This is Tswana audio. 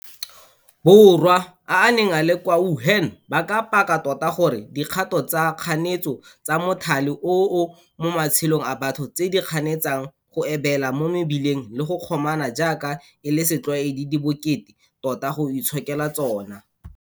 Borwa a a neng a le kwa Wuhan ba ka paka tota gore dikgato tsa kganetso tsa mothale oo mo matshelong a batho, tse di kganetsang go ebela mo mebileng le go kgomana jaaka e le setlwaedi di bokete tota go itshokela tsona.